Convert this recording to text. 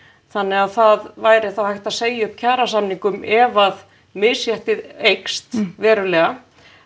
þannig að það væri þá hægt að segja upp kjarasamningum ef misréttið eykst verulega